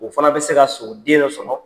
O fana bɛ se ka so den dɔ sɔrɔ